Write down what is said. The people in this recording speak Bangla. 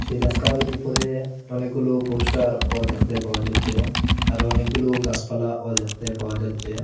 সেই রাস্তার উপরে অনেকগুলো পোস্টারও দেখতে পাওয়া যাচ্ছে আর অনেকগুলো গাসপালাও দেখতে পাওয়া যাচ্ছে।